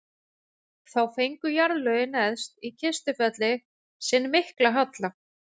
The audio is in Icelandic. þá fengu jarðlögin neðst í kistufelli sinn mikla halla